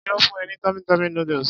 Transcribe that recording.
Tani ó fún e ní tummy tummy noodles?